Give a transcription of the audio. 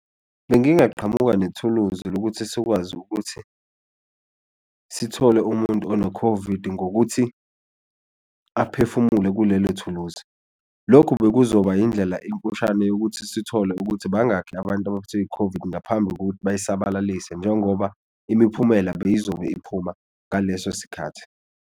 Bengingaqhamuma nethuluzi lokuthi sikwazi ukuthi sithole umuntu ono-COVID ngokuthi aphefumule kulelo thuluzi, lokhu bekuzoba indlela emfushane yokuthi sithole ukuthi bangakhi abantu abaphethwe yi-COVID ngaphambi kokuthi bayisabalalise njengoba imiphumela beyizobe iphuma ngaleso sikhathi.